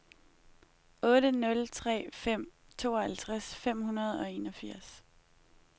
otte nul tre fem tooghalvtreds fem hundrede og enogfirs